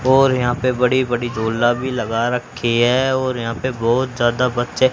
और यहां पे बड़ी बड़ी झोला भी लगा रखी है और यहां पे बहोत ज्यादा बच्चे--